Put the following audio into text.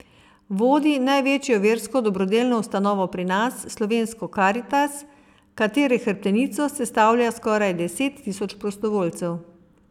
Vodi največjo versko dobrodelno ustanovo pri nas, Slovensko Karitas, katere hrbtenico sestavlja skoraj deset tisoč prostovoljcev.